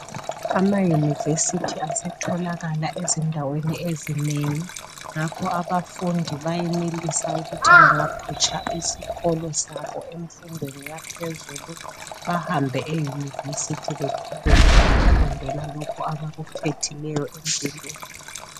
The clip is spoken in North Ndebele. Amayunivesithi asetholakala ezindaweni ezinengi ngakho abafundi bayenelisa ukuthi bangaphutsha isikolo sabo emfundweni yaphezulu bahambe eyunivesithi beqhubeke ngokufundela lokhu abakukhethileyo empilweni.